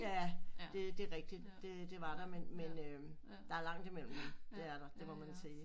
Ja det det er rigtig det det var der men men men øh der er langt i mellem dem det er der det må man sige